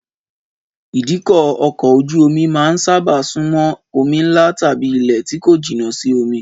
Ìdíkọ̀ ọkọ̀ ojú-omi máa ń sábà sún mọ́ omi ńlá tàbí ilẹ̀ tí kò jìnà sí omi